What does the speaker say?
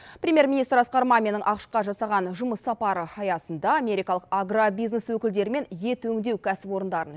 премьер министр асқар маминнің ақш қа жасаған жұмыс сапары аясында америкалық агробизнес өкілдерімен ет өңдеу кәсіпорындарын